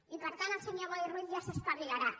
i per tant el senyor boi ruiz ja s’espavilarà